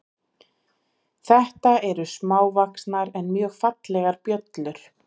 Þetta eru smávaxnar en mjög fallegar bjöllur.